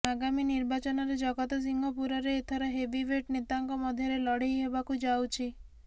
ଆଗାମୀ ନିର୍ବାଚନରେ ଜଗତସିଂହପୁରରେ ଏଥର ହେଭିୱେଟ ନେତାଙ୍କ ମଧ୍ୟରେ ଲଢ଼େଇ ହେବାକୁ ଯାଉଛି